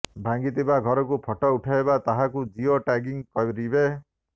ଭାଙ୍ଗିଥିବା ଘରକୁ ଫଟୋ ଉଠାଇ ତାହାକୁ ଜିଓ ଟାଗିଙ୍ଗ୍ କରିବେ